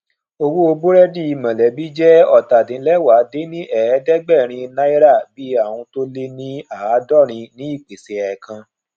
owó burẹdi mọlẹbi je ọtadinlẹwá dín ní ẹẹdẹgbẹrin náírà bii aun to le ni aadọrin ní ìpèsè ẹẹkan